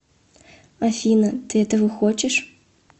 афина ты этого хочешь